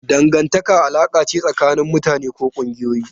Dangantaka alaƙa ce tsakanin mutane ko ƙungiyoyi.